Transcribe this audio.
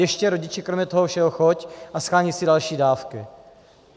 Ještě, rodiči, kromě toho všeho choď a sháněj si další dávku.